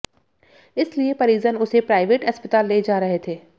इसलिए परिजन उसे प्राइवेट अस्पताल ले जा रहे थे